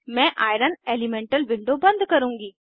मैं iron elemental window बंद करुँगी